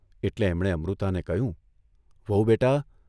એટલે એમણે અમૃતાને કહ્યું, ' વહુ બેટા!